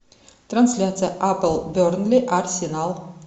трансляция апл бернли арсенал